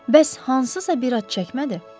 Bəs hansısa bir ad çəkmədi?